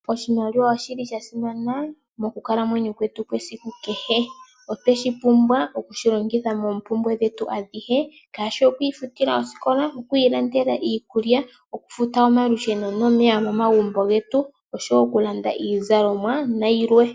Oshimaliwa oshi li sha simana mokukalamwenyo kwetu kwesiku kehe. Otwe shi pumbwa oku shi longitha moompumbwe dhetu kehe, ngaashi oku ifutila osikola, oku ilandela iikulya, okufuta omalusheno nomeya momagumbo getu, osho wo okulanda iizalomwa nayilwe.